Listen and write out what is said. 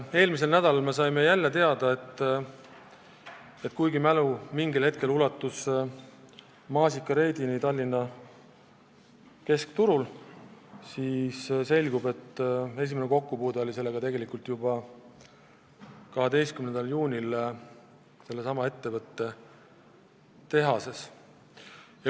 Eelmisel nädalal saime teada, et kuigi mingil hetkel ulatus tema mälu Tallinna keskturul korraldatud maasikareidini, siis selgub, et tegelikult oli tal listeeriaprobleemiga esimene kokkupuude juba 12. juunil sellesama ettevõtte tehases.